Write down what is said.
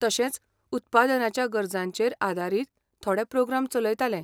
तशेंच, उत्पादनाच्या गरजांचेर आदारीत थोडे प्रोग्राम चलयतालें.